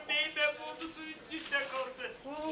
Qurtara bilmədi, su içində qaldı.